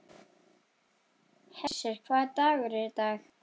Hersir, hvaða dagur er í dag?